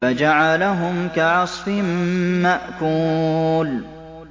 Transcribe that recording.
فَجَعَلَهُمْ كَعَصْفٍ مَّأْكُولٍ